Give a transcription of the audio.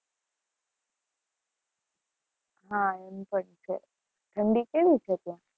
હા, એમ પણ છે, ઠંડી કેવી છે ત્યાં?